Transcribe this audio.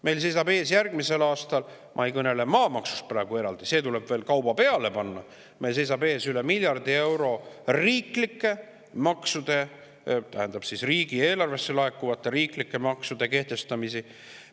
Meil seisab järgmisel aastal ees – ma ei kõnele praegu eraldi maamaksust, see tuleb veel kauba peale panna – üle miljardi euro riigieelarvesse laekuvate riiklike maksude kehtestamise tõttu.